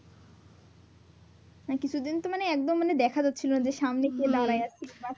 হ্যাঁ কিছুদিন তো মানে একদম মানে দেখা যাচ্ছিলো না যে সামনে কে দাঁড়ায় আছে।